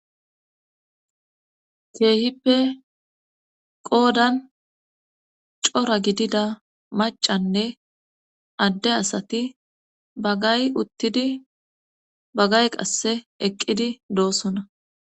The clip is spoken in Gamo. Keehippe qoodan cora gidida macanne adde asati bagay uttidi bagay qasse eqqidi doosona.